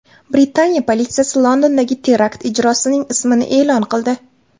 Britaniya politsiyasi Londondagi terakt ijrochisining ismini e’lon qildi.